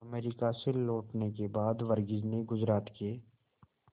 America से लौटने के बाद वर्गीज ने गुजरात के